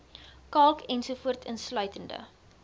kalk ens insluitende